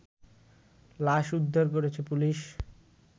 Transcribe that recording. লাশ উদ্ধার করেছে পুলিশ